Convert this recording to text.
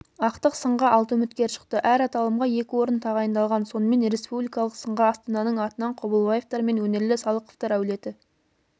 ақтық сынға алты үміткер шықты әр аталымға екі орын тағайындалған сонымен республикалық сынға астананың атынан қобылбаевтар мен өнерлі салықовтар әулеті